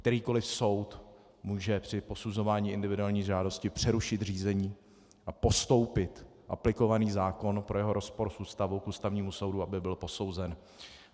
Kterýkoliv soud může při posuzování individuální žádosti přerušit řízení a postoupit aplikovaný zákon pro jeho rozpor s Ústavou k Ústavnímu soudu, aby byl posouzen.